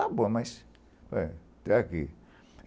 Está bom, mas até até aqui.